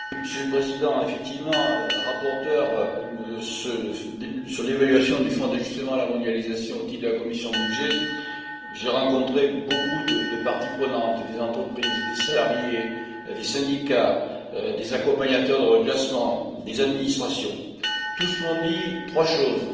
Monsieur le Président, effectivement, en tant que rapporteur sur l'évaluation du Fonds d'ajustement à la mondialisation au titre de la commission des budgets, j'ai rencontré beaucoup de parties prenantes, des entreprises, des salariés, des syndicats, des accompagnateurs de reclassement, des administrations. Tous m'ont dit trois choses.